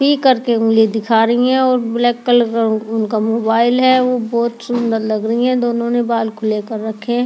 ही करके उंगली दिखा रही है और ब्लैक कलर का उन उनका मोबाइल है। वो बहोत सुंदर लग रही है। दोनों ने बाल खुले कर रखे हैं।